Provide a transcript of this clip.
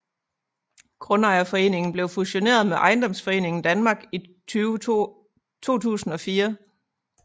Grundejerforeningen blev fusioneret med Ejendomsforeningen Danmark i 2004